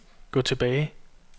gå tilbage